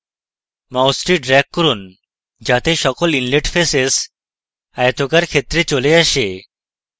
মাউসটি drag করুন যাতে সকল inlet faces আয়তকার ক্ষেত্রে চলে আসে